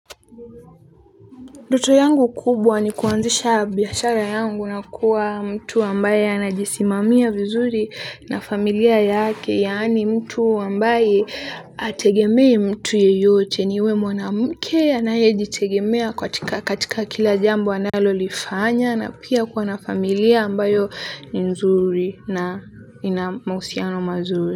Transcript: Ndoto yangu kubwa ni kuanzisha biashara yangu na kuwa mtu ambaye anajisimamia vizuri na familia yake yaani mtu ambaye hategemei mtu yeyote niwe mwanamke anayejitegemea katika katika kila jambo analolifanya na pia kuwa na familia ambayo ni nzuri na ina mahusiano mazuri.